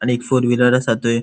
आणि एक four wheeler असा थैय.